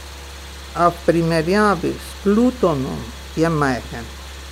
A v primerjavi s Plutonom je majhen.